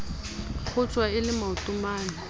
kgotjwa e le maoto mane